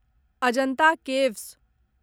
Ajanta caves